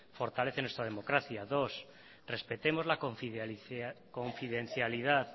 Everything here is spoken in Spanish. fortalece nuestra democracia dos respetemos la confidencialidad